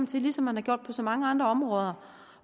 til ligesom man har gjort på så mange andre områder